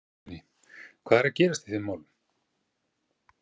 Guðný: Hvað er að gerast í þeim málum?